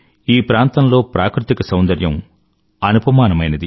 ఈ ప్రాంతంలో ప్రాకృతిక సౌందర్యం అనుపమానమైనది